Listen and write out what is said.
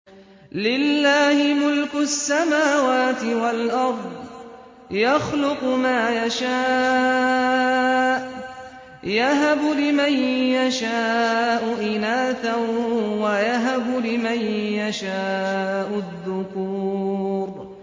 لِّلَّهِ مُلْكُ السَّمَاوَاتِ وَالْأَرْضِ ۚ يَخْلُقُ مَا يَشَاءُ ۚ يَهَبُ لِمَن يَشَاءُ إِنَاثًا وَيَهَبُ لِمَن يَشَاءُ الذُّكُورَ